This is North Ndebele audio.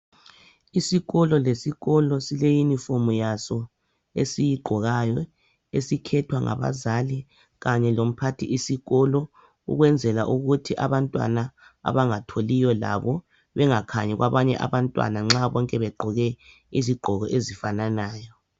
Isikolo lesikolo sileyunifomu yaso esiyigqokayo esikhethwa ngabazali kanye lomphathisikolo ukwenzela ukuthi abantwana abangatholiyo labo bengakhanyi kwabanye abantwana nxa bonke begqoke izigqoko ezifanayo.